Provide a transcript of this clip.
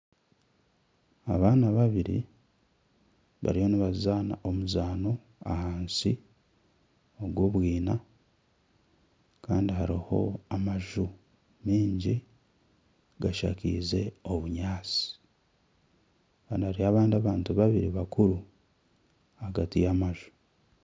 Abaana babiri bariyo nibazaana omuzaano ahansi ogw'obwina kandi hariho amaju maingi gashakaize obunyaatsi kandi hariyo abandi bantu babiri bakuru ahagati y'amaju